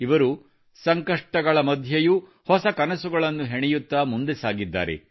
ಇವರು ಸಂಕಷ್ಟಗಳ ಮಧ್ಯೆಯೂ ಹೊಸ ಕನಸುಗಳನ್ನು ಹೆಣೆಯುತ್ತಾ ಮುಂದೆ ಸಾಗಿದ್ದಾರೆ